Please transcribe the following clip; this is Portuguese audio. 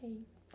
Ok.